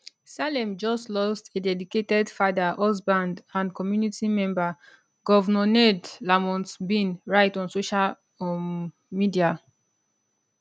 salem just lost a dedicated father husband and community member govnor ned lamont bin write on social um media